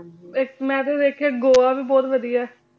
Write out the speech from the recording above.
ਹਾਂਜੀ ਏਇਕ ਮੈਂ ਵੀ ਵੇਖ੍ਯਾ ਆਯ ਗੋਆ ਵੀ ਬੋਹਤ ਵਾਦਿਯ ਆਯ